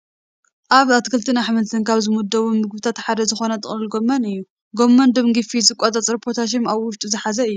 ኣብ ኣትክልትን ኣሕምልትን ካብ ዝምደቡ ምግብታት ሓደ ዝኾነ ጥቕልል ጎመን እዩ፡፡ ጎመን ደም ጊፍት ዝቆፃፀር ፖታሽየም ኣብ ውሽጡ ዝሓዘ እዩ፡፡